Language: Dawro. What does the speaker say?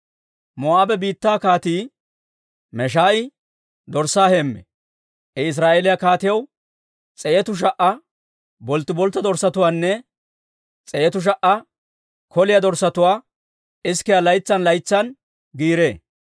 Moo'aabe biittaa Kaatii Meesha'i dorssaa heemmee. I Israa'eeliyaa kaatiyaw s'eetu sha"a bolttiboltta dorssatuwaanne s'eetu sha"a koliyaa dorssatuwaa isikiyaa laytsan laytsan giiree.